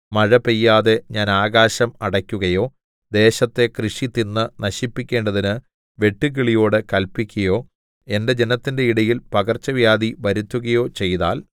മഴ പെയ്യാതെ ഞാൻ ആകാശം അടക്കുകയോ ദേശത്തെ കൃഷി തിന്നു നശിപ്പിക്കേണ്ടതിന് വെട്ടുക്കിളിയോടു കല്പിക്കയോ എന്റെ ജനത്തിന്റെ ഇടയിൽ പകർച്ചവ്യാധി വരുത്തുകയോ ചെയ്താൽ